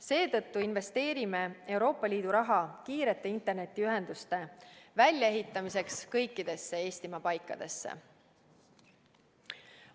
Seetõttu investeerime Euroopa Liidu raha kiirete internetiühenduste väljaehitamiseks kõikidesse Eestimaa paikadesse.